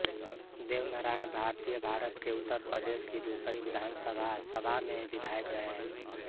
देवनारायण भारतीयभारत के उत्तर प्रदेश की दूसरी विधानसभा सभा में विधायक रहे